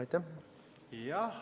Aitäh!